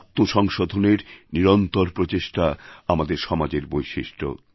আত্মসংশোধনের নিরন্তর প্রচেষ্টা আমাদের সমাজের বৈশিষ্ট্য